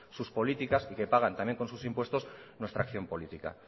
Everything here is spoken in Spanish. sus políticas y que pagan también con sus impuestos nuestra acción política